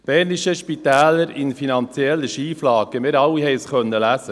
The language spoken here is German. Bernische Spitäler in finanzieller Schieflage» – Wir alle konnten es lesen.